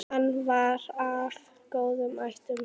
Hann var af góðum ættum.